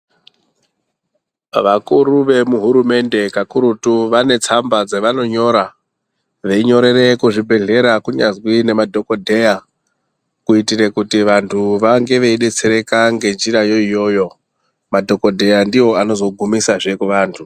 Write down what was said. Vakuru vemuhurumende kakurutu vanetsamba dzavanonyora, veyinyorere kuzvibhedhleya, kunyanzvi nemadhokodheya kuitire kuti vantu vange veyidetsereka ngechirayoyo. Madhokogdheya ndiwo anozogumisa zvekuvantu.